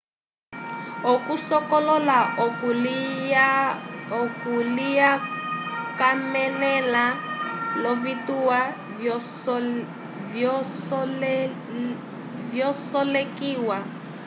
okusokolola oku kalikwamelela lovitwa vyasolekiwa